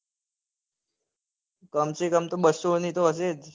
કમસેકમ તો બસો ની તો હસે જ.